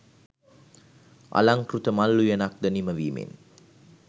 අලංකෘත මල් උයනක් ද නිම වීමෙන්